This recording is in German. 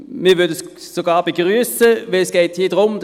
Wir würden es sogar begrüssen, weil es hier darum geht –